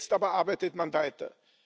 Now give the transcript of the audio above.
Jetzt aber arbeitet man weiter.